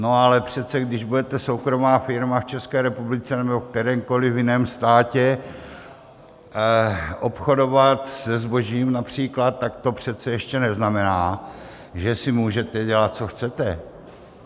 No ale přece když budete soukromá firma v České republice nebo v kterémkoliv jiném státě obchodovat se zbožím například, tak to přece ještě neznamená, že si můžete dělat, co chcete.